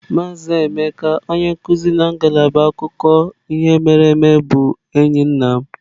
Maazị Emeka onye nkuzi na ngalaba akụkọ ihe mere eme bụ enyi nna m.